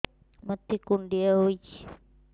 ମୋତେ କୁଣ୍ଡିଆ ହେଇଚି